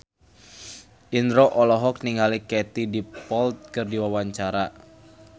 Indro olohok ningali Katie Dippold keur diwawancara